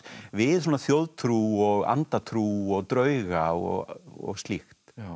við svona þjóðtrú og andatrú og drauga og slíkt